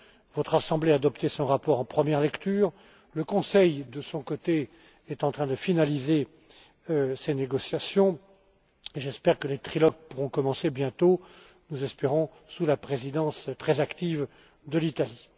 Votre Assemblée a adopté son rapport en première lecture, le Conseil de son côté est en train de finaliser ses négociations et j'espère que les trilogues pourront commencer bientôt sous la présidence très active de l'Italie.